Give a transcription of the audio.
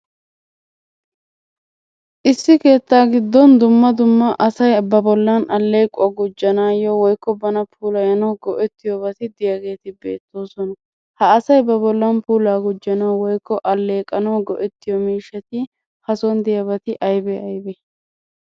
Issi keettaa giddon dumma dumma asay ba bollan alleequwa gujjanaayyo woyikko bana puulayanawu go'ettiyobati beettoosona. Ha asay ba bollan puulaa gujjanawu woyikko alleeqanawu go'ettiyo miishshati hason diyabati ayibee ayibee?